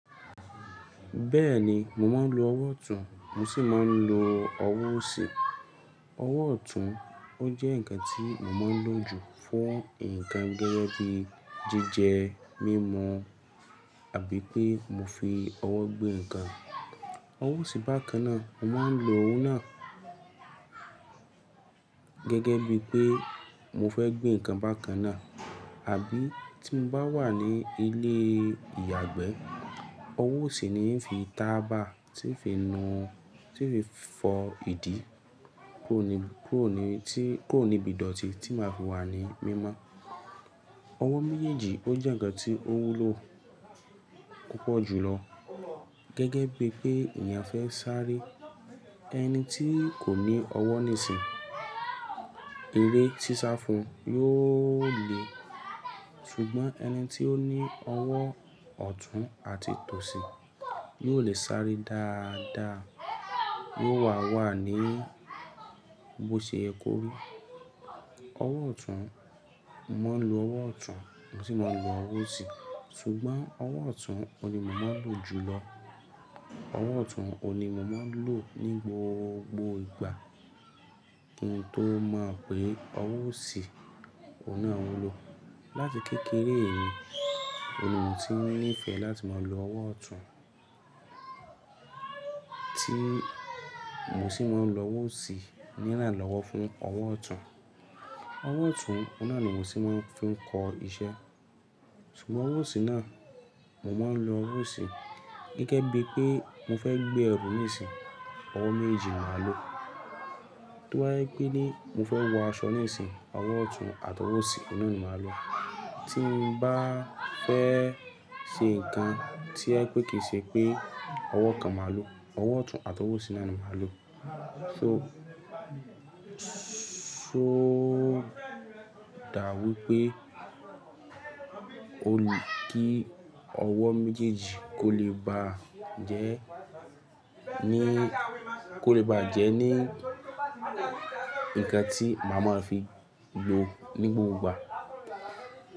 Bẹ́ẹ̀ni, mò mo ń lo ọwọ́ ọ̀tún, mo sì máa ń lo ọwọ́ òsì. Ọwọ́ ọ̀tún, ó jẹ́ ǹkan tí mo máa ń lò ju fún ǹkan gẹ́gẹ́ bí jíjẹ, mímu, àbí pé mo fi ọwọ́ gbé ǹkan. Ọwọ́ òsì bákan náà, mo màá ń lo òun náà gẹ́gẹ́ bí pé mo fẹ́ gbé ǹkan bákan náà, àbí tí mo bá wà ní ilé ìyàgbẹ́, ọwọ́ òsì ni ń fi tàbá, tí ń fi nu, tí ń fi fọ ìdí, kuro ní, kuro ní, tí kuro níbì idọ̀tí tí màá fi wà ní mímọ́. Ọwọ́ méjèèjì ó jẹ̀ ǹkan tí ó wúlò púpọ̀ jùlọ gẹ́gẹ́ bí pé èèyàn fẹ́ sáré. Ẹni tí kò ní ọwọ́ nísìnyií, eré sisá fún yóò le, ṣùgbọ́n ẹni tí ó ní ọwọ́ ọ̀tún àti tòsì yóò le sáré dáadáa. Yóò wà wà ní bóṣe yẹ kó ri. Ọwọ́ ọ̀tún, mò mo ń lo ọwọ́ ọ̀tún, mo sì máa ń lo ọwọ́ òsì. Ṣùgbọ́n ọwọ́ ọ̀tún oun ni mò máa ń lò jùlọ. Ọwọ́ ọ̀tún òun ní mò máa ń lò ní gbogbo ìgbà. Ki n tó mo pè ọwọ́ òsì, òun náà wulò láti kékeré mi. Òun ni mò tí ń nífẹ̀ẹ́ láti máa lo ọwọ́ ọ̀tún tí mò sì máa ń lo ọwọ́ òsì nírànlọ́wọ́ fún ọwọ́ ọ̀tún. Ọwọ́ ọ̀tún, ọ̀un náà ni mò sì máa ń fi ń kọ iṣẹ́. Ṣùgbọ́n ọwọ́ òsì náà, mò máa ń lo ọwọ́ òsì gẹ́gẹ́ bí pé mo fẹ́ gbé ẹrù nísìnyií, ọwọ́ mejéjì ni màá lò. To ba je pẹ́ ni, mo fẹ́ wọ aṣọ nísìnyií, ọwọ́ ọ̀tún àtọwọ́ òsì, ọun náà ni màá lò. Tí mo bá fẹ́ ṣe ǹkan to jẹ pé kì í ṣe pé ọwọ́ kan máa lò, ọwọ́ ọ̀tún àtọwọ́ òsì náà ni màá lò. So, so dàa wípé ó lè kí ọwọ́ méjèèjì kò lè bá jẹ́ ní, kò lè bá jẹ́ ní ǹkan tí màá máa fi lò ní gbogbo ìgbà.